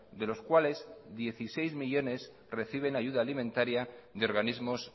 de los cuales dieciséis millónes reciben ayuda alimentaria de organismos